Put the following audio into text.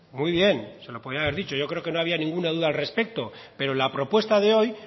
muy bien se lo podría haber dicho yo creo que no había ninguna duda al respecto pero la propuesta de hoy